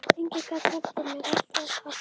Enginn gat hjálpað mér, allt var tapað.